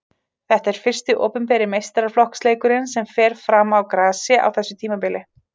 Þetta er fyrsti opinberi meistaraflokksleikurinn sem fer fram á grasi á þessu tímabili.